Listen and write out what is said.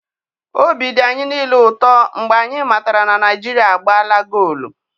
Obi dị anyị niile ụtọ mgbe anyị matara na Naijiria agbaala goolu.